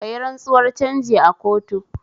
Kayi rantsuwar canji a kotu